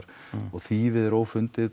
og þýfið er